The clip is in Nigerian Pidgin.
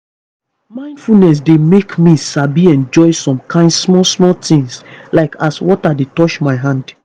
mindfulness dey make me sabi enjoy some kain small small things like as water dey touch my hand.